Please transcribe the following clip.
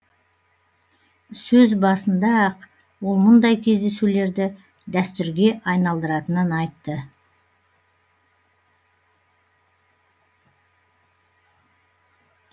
сөз басында ақ ол мұндай кездесулерді дәстүрге айналдыратынын айтты